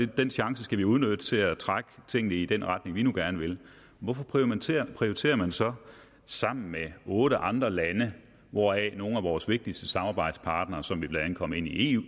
den chance skal vi udnytte til at trække tingene i den retning vi gerne vil hvorfor prioriterer prioriterer man så sammen med otte andre lande hvoraf nogle af vores vigtigste samarbejdspartnere som vi blandt andet kom ind i